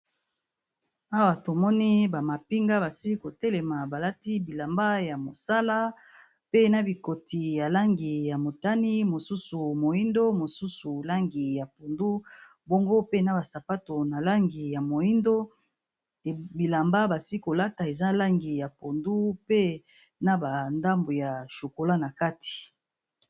Awa to moni ba mapinga ba sili ko telema ba lati bilamba ya mosala pe na bikoti ya langi ya motane, mosusu moyindo mosusu langi ya pundu bongo pe na ba sapato na langi ya moyindo, bilamba basi ko lata eza langi ya pondu pe na ba ndambu ya chokolat na kati .